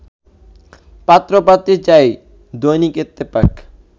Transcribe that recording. পাত্র পাত্রী চাই দৈনিক ইত্তেফাক